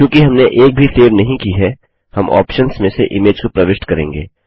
चूँकि हमने एक भी सेव नहीं की है हम ऑप्शन्स में से इमेज को प्रविष्ट करेंगे